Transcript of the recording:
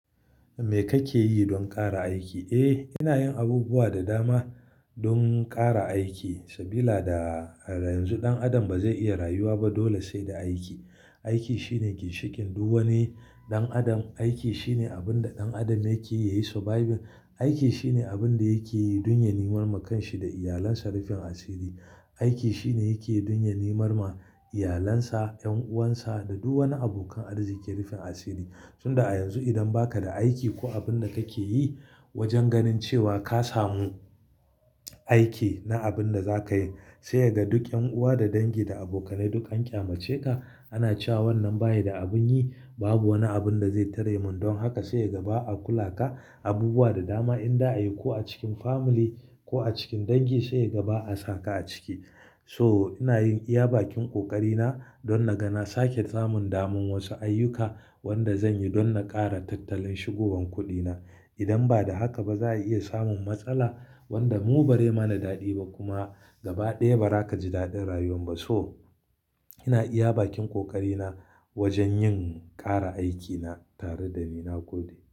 Me kake yi don ƙara aiki? Eh, ina yin abubuwa da dama don ƙara aiki, sabila da a yanzu ɗan adam ba zai iya rayuwa ba dole sai da aiki. Aiki shine ginshikin duk wani ɗan adam. Aiki shine abin da ɗan adam yake yi surviving. Aiki shine abin da yake yi don ya nemi maka shi da iyalansa rufin asiri. Aiki shine yake yi don ya nemi ma iyalansa, 'yan'uwansa da duk wani abokan arziki rufin asiri. Tunda a yanzu idan ba ka da aiki ko abin da kake yi wajen ganin cewa ka samu aiki na abin da za ka yi, sai yaga duk 'yan'uwa da dangi da abokanai duk an ƙyamace ka. Ana cewa wannan bayi da abin yi, babu wani abin da zai tare min. Don haka sai yaga ba a kula ka abubuwa da dama inda ayi ko a cikin family ko a cikin dangi sai yaga ba a saka a ciki. So inayin iya bakin ƙoƙari na don na gana sake samun dama wasu ayyuka wanda zan yi don na ƙara tattalin shigowan kuɗina. Idan ba da haka ba za a iya samun matsala wanda mu bari mana daɗi ba kuma gaba ɗaya ba ra ka ji daɗin rayuwan ba. So ina iya bakin ƙoƙari na wajen yin ƙara aikina tare da niman kuɗi.